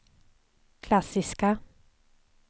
klassiska